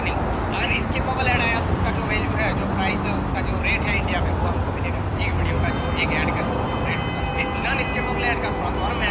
नहीं होता है अगर इसके स्किपेबल एड आया तो उसका जो वैल्यू है जो प्राइस है उसका जो रेट है इंडिया में वो हमको मिलेगा एक विडियो का जो एक एड का जो रेट होता है फिर नन स्किपेबल एड थोड़ा सा और महँ --